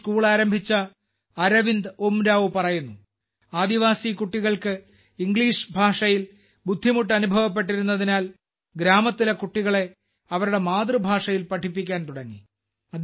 ഈ സ്കൂൾ ആരംഭിച്ച അരവിന്ദ് ഉരാംവ് പറയുന്നു ആദിവാസി കുട്ടികൾക്ക് ഇംഗ്ലീഷ് ഭാഷയിൽ ബുദ്ധിമുട്ട് അനുഭവപ്പെട്ടിരുന്നതിനാൽ ഗ്രാമത്തിലെ കുട്ടികളെ അവരുടെ മാതൃഭാഷയിൽ പഠിപ്പിക്കാൻ തുടങ്ങി